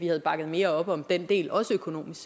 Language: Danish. havde bakket mere op om den del også økonomisk